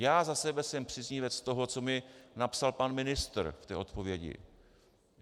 Já za sebe jsem příznivcem toho, co mi napsal pan ministr v té odpovědi.